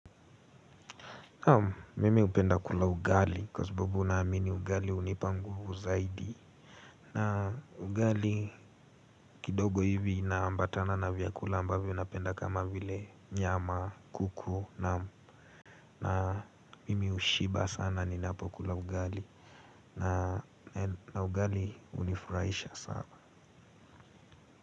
Naam mimi hupenda kula ugali kwa sababu zibubu naamini ugali hunipa nguvu zaidi. Na ugali kidogo hivi na ambatana na vyakula ambavyo napenda kama vile nyama kuku na mimi hushiba sana ni napo kula ugali. Na ugali hunifurahisha sana.